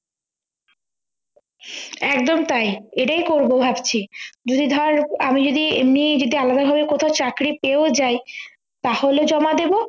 একদম তাই এটাই করব ভাবছি যদি ধর আমি যদি এমনি যদি আলাদা ভাবে কোথাও চাকরি পেয়েও যাই তাহলে জমা দেব